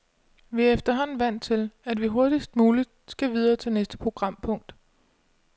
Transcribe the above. Vi er efterhånden vant til, at vi hurtigst muligt skal videre til næste programpunkt.